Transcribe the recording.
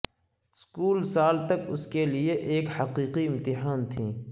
school سال تک اس کے لئے ایک حقیقی امتحان تھیں